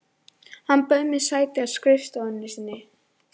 Hann bauð mér sæti á skrifstofunni sinni.